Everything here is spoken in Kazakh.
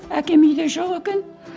әкем үйде жоқ екен